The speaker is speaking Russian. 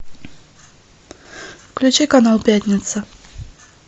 включи канал пятница